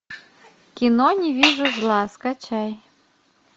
кино не вижу зла скачай